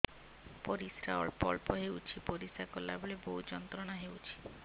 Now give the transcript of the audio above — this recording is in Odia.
ପରିଶ୍ରା ଅଳ୍ପ ଅଳ୍ପ ହେଉଛି ପରିଶ୍ରା କଲା ବେଳେ ବହୁତ ଯନ୍ତ୍ରଣା ହେଉଛି